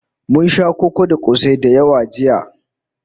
Mun sha koko da kosai da yawa jiya